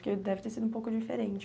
Porque deve ter sido um pouco diferente.